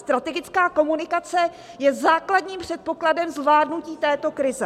Strategická komunikace je základním předpokladem zvládnutí této krize.